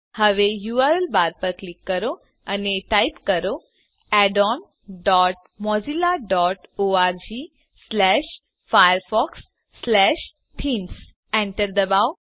હવે URL bar પર click કરો અને ટાઈપ કરો addons dot Mozilla dot org slash Firefox slash themes Enter દબાવો